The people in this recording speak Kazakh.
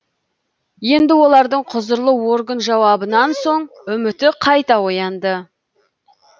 енді олардың құзырлы орган жауабынан соң үміті қайта оянды